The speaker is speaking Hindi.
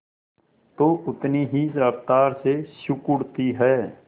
तो उतनी ही रफ्तार से सिकुड़ती है